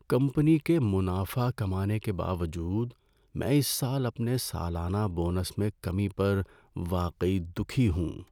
Company کے منافع کمانے کے باوجود، میں اس سال اپنے سالانہ بونس میں کمی پر واقعی دکھی ہوں۔